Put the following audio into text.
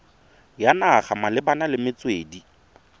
ya naga malebana le metswedi